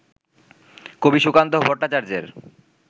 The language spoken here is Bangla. কবি সুকান্ত ভট্টাচার্যের